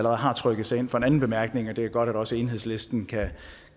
har trykket sig ind for sin anden bemærkning og det er godt at også enhedslisten kan